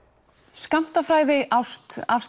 skammtafræði ást